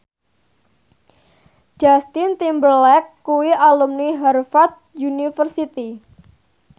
Justin Timberlake kuwi alumni Harvard university